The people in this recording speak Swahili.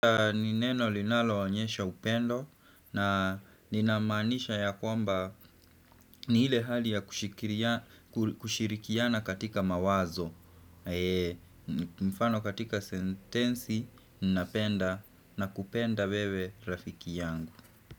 Nineno linalo onyesha upendo na ninamanisha ya kwamba ni hile hali ya kushirikiana katika mawazo Mfano katika sentensi ninapenda na kupenda wewe rafiki yangu.